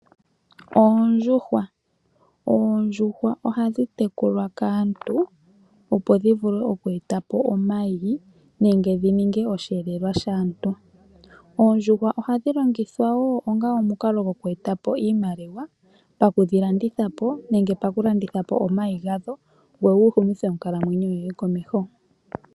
Oondjuhwa ohadhi tekulwa kaantu opo dhivule okweetapo omayi nenge dhininge osheelelwa shaantu. Oondjuhwa ohadhi longithwa wo onga omukalo gokweetapo iimaliwa ,pakudhilandithapo nenge okulandithapo omayi gadho opo wuhumithe komeho onkalamwenyo.